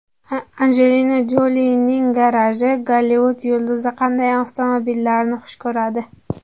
Anjelina Jolining garaji: Gollivud yulduzi qanday avtomobillarni xush ko‘radi?